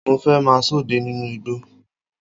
Mo fẹ́ máa sọdẹ nínú igbó